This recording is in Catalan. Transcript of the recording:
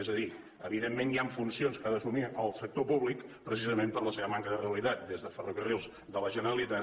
és a dir evidentment hi han funcions que ha d’assumir el sector públic precisament per la seva manca de rendibilitat des de ferrocarrils de la generalitat